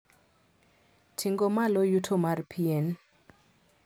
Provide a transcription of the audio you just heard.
Tingo malo yuto mar pien